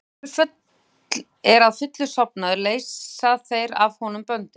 Þegar hesturinn er að fullu sofnaður leysa þeir af honum böndin.